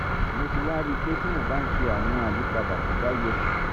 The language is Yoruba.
mo ti wá rí i pé tí mo bá ń ṣe àwọn àyípadà tó bá yẹ